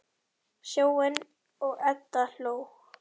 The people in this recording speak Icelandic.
Sjóni og Edda hló.